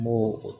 N b'o o